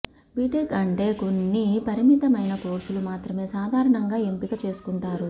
BTech అంటే కొన్ని పరిమితమైన కోర్సులు మాత్రమే సాధారణంగా ఎంపిక చేసుకుంటారు